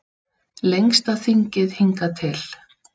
Lengsta þingið hingað til